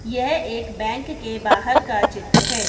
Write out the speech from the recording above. यह एक बैंक के बाहर का चित्र है।